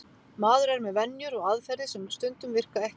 Maður er með venjur og aðferðir sem stundum virka ekki.